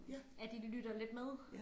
At de lytter lidt med